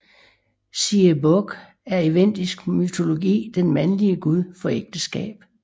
Siebog er i vendisk mytologi den mandlige gud for ægteskab